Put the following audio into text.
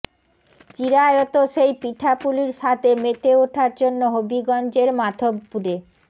চিরায়ত সেই পিঠাপুলির স্বাদে মেতে ওঠার জন্য হবিগঞ্জের মাধবপুরে